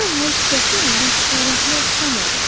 Bu anlayış qətiyyən yaşlılarınkına oxşamırdı.